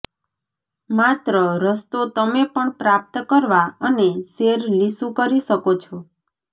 માત્ર રસ્તો તમે પણ પ્રાપ્ત કરવા અને સેર લીસું કરી શકો છો